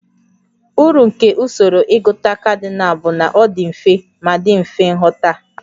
Uru nke usoro ịgụta kadinal bụ na ọ dị mfe ma dị mfe nghọta